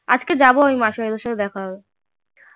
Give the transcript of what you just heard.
আজকে যাবো আমি মাস্টার মশাই এর সাথে দেখা করতে